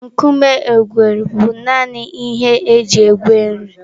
Nkume egweri bụ nanị ihe e ji egwe nri.